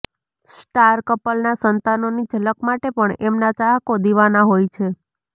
star કપલના સંતાનોની ઝલક માટે પણ એમના ચાહકો દીવાના હોય છે